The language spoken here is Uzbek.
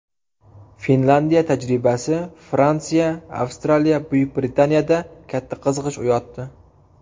Finlyandiya tajribasi Fransiya, Avstraliya, Buyuk Britaniyada katta qiziqish uyg‘otdi.